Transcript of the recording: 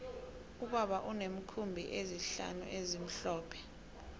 ubaba uneenkhumbi ezihlanu ezimhlophe